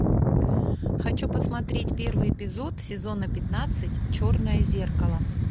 хочу посмотреть первый эпизод сезона пятнадцать черное зеркало